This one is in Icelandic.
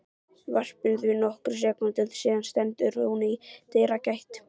varpinu því nokkrum sekúndum síðar stendur hún í dyragætt